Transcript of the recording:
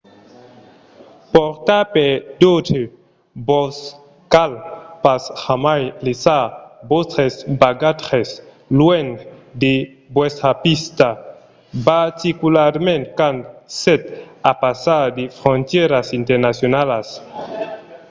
portar per d'autres - vos cal pas jamai laissar vòstres bagatges luènh de vòstra vista particularament quand sètz a passar de frontièras internacionalas